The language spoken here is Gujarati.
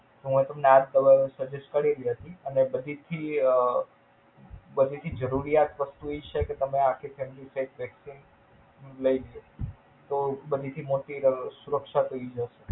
હું આ તમને આ દવા suggest કરેલી હતી અને બધેથી અઅઅ બધેથી જરૂરિયાત વસ્તુ ઈ છે કે તમેં આ આખી Candidate Exchange લઇ લ્યો. તો અઅઅ બીજી મોટી સુરક્ષા થઇ જાય.